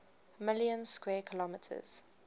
million square kilometers